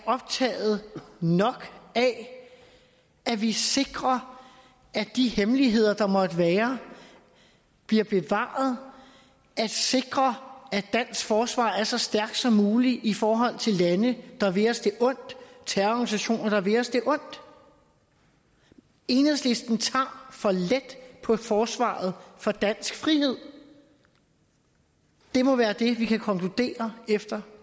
optaget af at vi sikrer at de hemmeligheder der måtte være bliver bevaret sikrer at dansk forsvar er så stærkt som muligt i forhold til lande og terrororganisationer der vil os det ondt enhedslisten tager for let på forsvaret for dansk frihed det må være det vi kan konkludere efter